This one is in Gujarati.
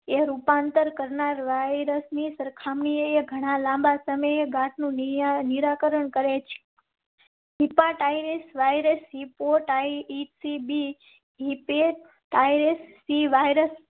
એ રૂપાંતર કરનાર વાયરસ ની સરખામણીએ ઘણા લાંબા સમય ઘાટ નું નિરાકરણ કરેં. Chinese virus report, IC B. ST. Virus